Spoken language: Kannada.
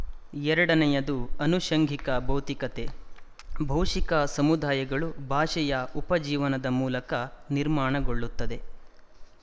ಎರಡನೆಯದು ಅನುಶಂಗಿಕ ಭೌತಿಕತೆ ಭಾಶಿಕ ಸಮುದಾಯಗಳು ಭಾಷೆಯ ಉಪಜೀವನದ ಮೂಲಕ ನಿರ್ಮಾಣಗೊಳ್ಳುತ್ತದೆ